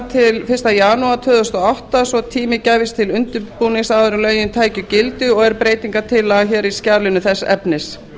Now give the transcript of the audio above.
til fyrsta janúar tvö þúsund og átta svo að tími gæfist til undirbúnings áður en lögin tækju gildi og er breytingartillaga í skjalinu þess efnis